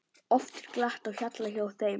Oft er glatt á hjalla hjá þeim.